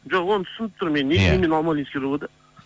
жоқ оны түсініп тұрмын мен неге алмалинский ровд